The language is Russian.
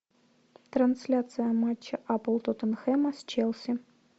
трансляция матча апл тоттенхэма с челси